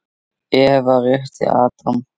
Eva rétti Adam.